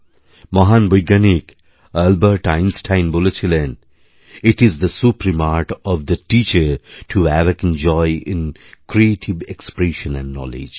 মহান বৈজ্ঞানিক Albert Einstein বলেছিলেন it is the supreme art of the teacher to awaken joy in creative expression and knowledge